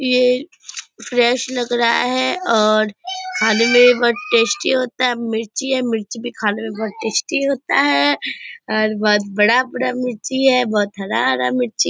ये फ्रेश लग रहा है और खाने में भी बहुत टेस्टी होता है मिर्ची है मिर्ची भी खाने में बहुत टेस्टी होता है और बहुत बड़ा-बड़ा मिर्ची है बहुत हरा-हरा मिर्ची --